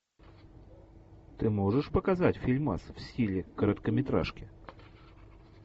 ты можешь показать фильмас в стиле короткометражки